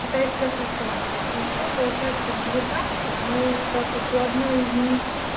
китайской хохлатой и ещё получается там две таксы но так как у одной из них